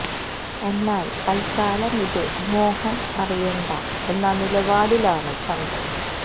എന്നാൽ തത്ക്കാലം ഇത് മോഹൻ അറിയണ്ട എന്ന നിലപാടിലാണ് ചന്ദ്രൻ